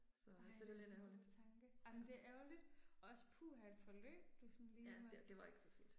Så, så det er lidt ærgerligt. Ja det det var ikke så fedt